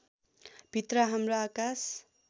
भित्र हाम्रो आकाश